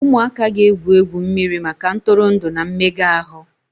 Ụmụaka ga-egwu mmiri maka ntụrụndụ na mmega ahụ.